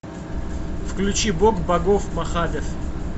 включи бог богов махадев